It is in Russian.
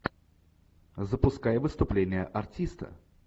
запускай выступление артиста